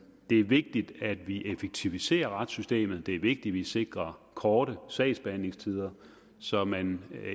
det er vigtigt at vi effektiviserer retssystemet det er vigtigt at vi sikrer korte sagsbehandlingstider så man